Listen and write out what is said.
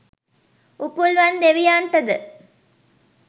Upulvan දෙවියන්ටද